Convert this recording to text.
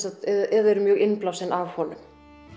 eða eru mjög innblásin af honum